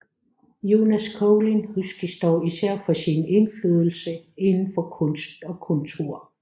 Jonas Collin huskes dog især for sin indflydelse inden for kunst og kultur